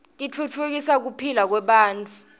titfutfukisa kuphila kwebantfu